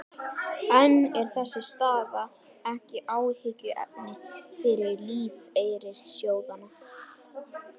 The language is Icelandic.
En er þessi staða ekki áhyggjuefni fyrir lífeyrissjóðina?